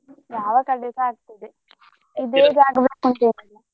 ಯಾವ ಕಡೆಸ ಆಗ್ತದೆ .